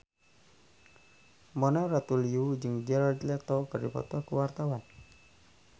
Mona Ratuliu jeung Jared Leto keur dipoto ku wartawan